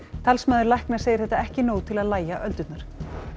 talsmaður lækna segir þetta ekki nóg til að lægja öldurnar